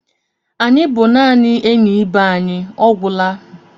Anyị bụ naanị enyi ibe anyị, ọ gwụla.